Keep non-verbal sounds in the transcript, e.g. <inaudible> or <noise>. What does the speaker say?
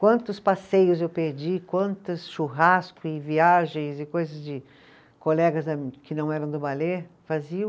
Quantos passeios eu perdi, quantos churrasco e viagens e coisas de colegas da, que não eram do <unintelligible> faziam.